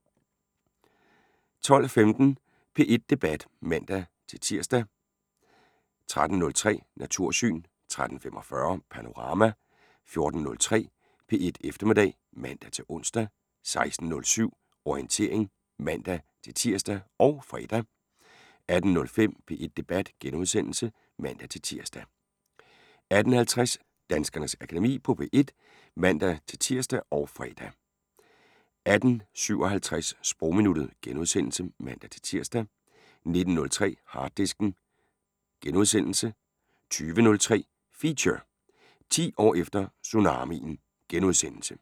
12:15: P1 Debat (man-tir) 13:03: Natursyn 13:45: Panorama 14:03: P1 Eftermiddag (man-ons) 16:07: Orientering (man-tir og fre) 18:05: P1 Debat *(man-tir) 18:50: Danskernes Akademi på P1 (man-tir og fre) 18:57: Sprogminuttet *(man-tir) 19:03: Harddisken * 20:03: Feature: 10 år efter tsunamien *